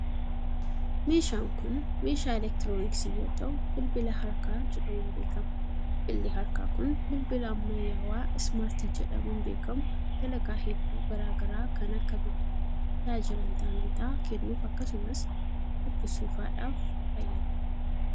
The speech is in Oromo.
Meeshaan kun, meeshaa elektirooniksii yoo ta'u bilbila harkaa jedhamuun beekama. Bilbilli harkaa kun, bilbila ammayyawaa ismaartii jedhamuun beekamu dalagaa hedduu garaa garaa kan akka; bilbiluuf, tajaajila intarneetaa kennuuf akkasumas dubbisuu faadhaaf fayyaduu dha.